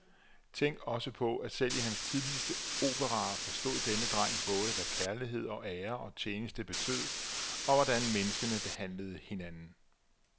Tænk også på, at selv i hans tidligste operaer forstod denne dreng både, hvad kærlighed og ære og tjeneste betød, og hvordan menneskene behandlede hinanden.